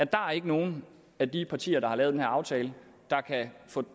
der er ikke nogen af de partier der har lavet den her aftale der